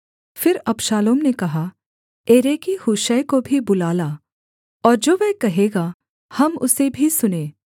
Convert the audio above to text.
फिर अबशालोम ने कहा एरेकी हूशै को भी बुला ला और जो वह कहेगा हम उसे भी सुनें